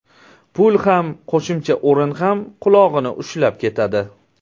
Pul ham, qo‘shimcha o‘rin ham qulog‘ini ushlab ketadi.